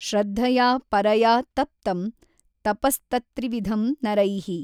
ಶ್ರದ್ಧಯಾ ಪರಯಾ ತಪ್ತಂ ತಪಸ್ತತ್ತ್ರಿವಿಧಂ ನರೈಃ।